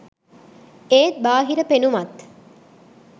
ඒත් බාහිර පෙනුමත්